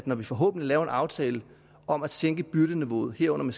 når vi forhåbentlig laver en aftale om at sænke byrdeniveauet herunder